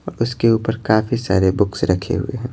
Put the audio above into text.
और उसके ऊपर काफी सारे बुक्स रखे हुए हैं।